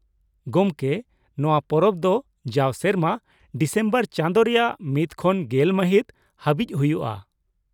ᱜᱚᱢᱠᱮ, ᱱᱚᱶᱟ ᱯᱚᱨᱚᱵᱽ ᱫᱚ ᱡᱟᱣ ᱥᱮᱨᱢᱟ ᱰᱤᱥᱮᱢᱵᱚᱨ ᱪᱟᱸᱫᱳ ᱨᱮᱭᱟᱜ ᱢᱤᱫ ᱠᱷᱚᱱ ᱜᱮᱞ ᱢᱟᱹᱦᱤᱛ ᱦᱟᱹᱵᱤᱡ ᱦᱩᱭᱩᱜᱼᱟ ᱾